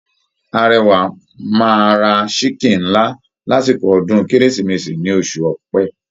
Arẹwà máa ra chiken ńlá lásìkò ọdún kérésìmesì ní oṣù Ọ̀pẹ.